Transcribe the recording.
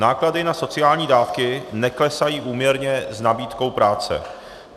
Náklady na sociální dávky neklesají úměrně s nabídkou práce.